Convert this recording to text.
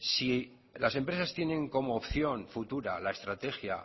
si las empresas tienen como opción futura la estrategia